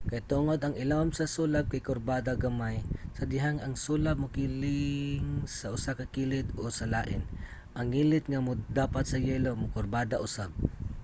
kay tungod ang ilawom sa sulab kay kurbada gamay sa dihang ang sulab mokiling sa usa ka kilid o sa lain ang ngilit nga modapat sa yelo mokurbada usab